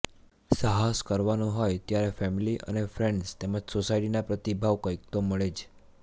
સાહસ કરવાનું હોય ત્યારે ફેમિલી એન્ડ ફ્રેન્ડઝ તેમ જ સોસાયટીના પ્રતિભાવ કંઇક તો મળે જ